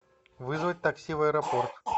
вызвать такси в аэропорт